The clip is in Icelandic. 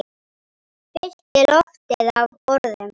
Fyllti loftið af orðum.